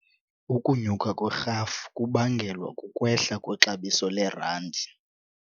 Ukunyuka kwerhafu kubangelwa kukwehla kwexabiso lerandi.